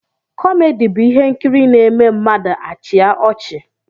Kọmedi bụ ihe nkiri n'eme mmadụ achia ọchị